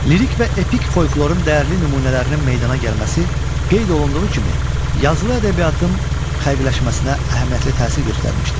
Lirik və epik folklorun dəyərli nümunələrinin meydana gəlməsi qeyd olunduğu kimi, yazılı ədəbiyyatın xəqqləşməsinə əhəmiyyətli təsir göstərmişdir.